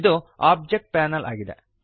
ಇದು object panel ಆಗಿದೆ